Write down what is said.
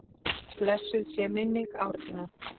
Blessuð sé minning Árna.